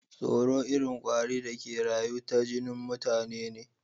Tsoro irin kwari da ke rayu ta jinin mutane ne.